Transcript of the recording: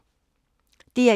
DR1